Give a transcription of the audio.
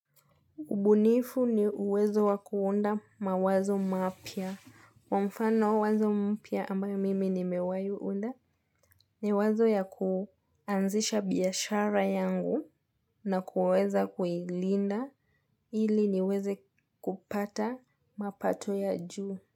Ubunifu ni uwezo wa kuunda mawazo mapya. Mfano wazo mpya ambayo mimi nimewai unda ni wazo ya kuanzisha biashara yangu na kuweza kuilinda ili niweze kupata mapato ya juu.